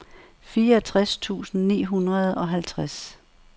fireogtres tusind ni hundrede og halvtreds